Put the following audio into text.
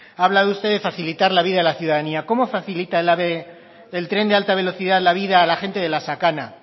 ha hablado usted de facilitar la vida a la ciudadanía cómo facilita el ave el tren de alta velocidad la vida a la gente de la sakana